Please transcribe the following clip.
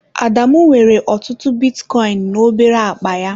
Adamu nwere ọtụtụ bitcoin na obere akpa ya.